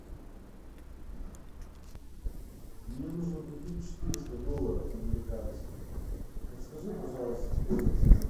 мне нужно купить четыреста долларов американских подскажи пожалуйста стоимость обмена